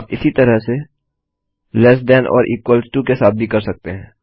आप इसी तरह से लेस थान छोटा या इक्वल टो बराबर के साथ भी कर सकते हैं